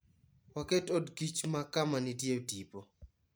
Waket odkich ma kama nitie tipo.